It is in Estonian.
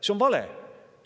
See on vale!